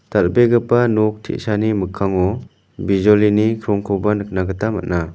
dal·begipa nok te·sani mikkango bijolini krongkoba nikna gita man·a.